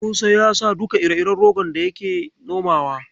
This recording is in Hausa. Musa ya sa duka ire-iren rogon da yake nomawa.